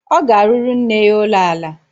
Ọ ga-arụrụ nne ya ụlọala